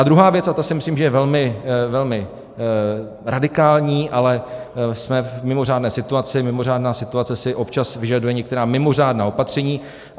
A druhá věc, a ta si myslím, že je velmi radikální, ale jsme v mimořádné situaci, mimořádná situace si občas vyžaduje některá mimořádná opatření.